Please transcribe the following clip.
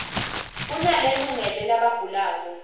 kunale lungele labagulako